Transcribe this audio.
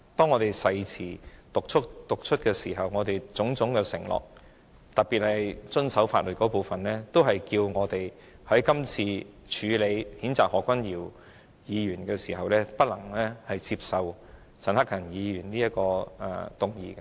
我們曾讀出誓詞，作出種種承諾，特別是遵守法律這部分，所以，我們今次在處理譴責何議員議案的時候，不能夠接受陳克勤議員所提出的議案的。